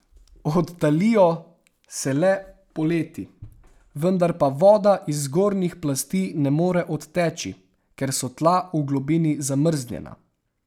Odtalijo se le poleti, vendar pa voda iz zgornjih plasti ne more odteči, ker so tla v globini zamrznjena.